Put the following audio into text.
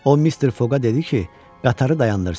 O mister Foqa dedi ki, qatarı dayandırsın.